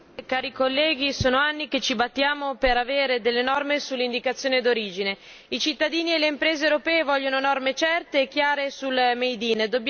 Signor Presidente, onorevoli colleghi, sono anni che ci battiamo per avere delle norme sull'indicazione d'origine. I cittadini e le imprese europee vogliono norme certe e chiare sul made in